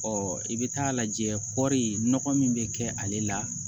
Ɔ i bɛ taa lajɛ kɔɔri nɔgɔ min bɛ kɛ ale la